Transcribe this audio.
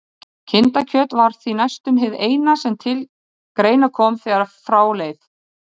Kindakjöt var því næstum hið eina sem til greina kom þegar frá leið.